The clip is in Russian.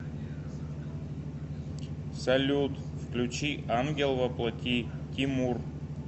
салют включи ангел во плоти тимур